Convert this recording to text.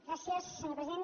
gràcies senyor president